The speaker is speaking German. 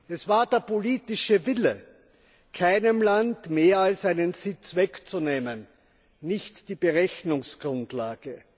Es war der politische Wille, keinem Land mehr als einen Sitz wegzunehmen, nicht die Berechnungsgrundlage.